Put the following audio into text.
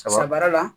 Sa baara la